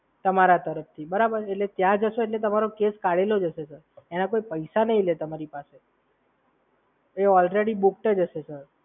તમારા તરફથી બરાબર? એટલે ત્યાં જશો એટલે તમારો કેસ કાઢેલો જ હશે સર અને એના કોઈ પૈસા નહીં લે તમારી પાસેથી. ઓલરેડી બુકડ જ હશે સર.